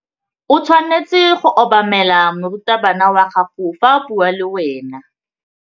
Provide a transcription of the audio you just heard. O tshwanetse go obamela morutabana wa gago fa a bua le wena.